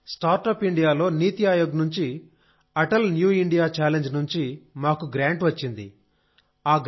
సార్స్టార్ట్అప్ ఇండియాలో నితి ఆయోగ్ నుండి Atal new India challenge నుండి మాకు గ్రాంట్ వచ్చింది